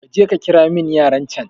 kaje kakiramin yaran can